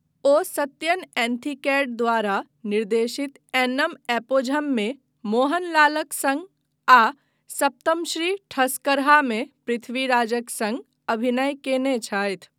ओ सत्यन एंथिकैड द्वारा निर्देशित एन्नम एपोझममे मोहनलालक सङ्ग आ सप्तमश्री ठस्करहामे पृथ्वीराजक सङ्ग अभिनय कयने छथि।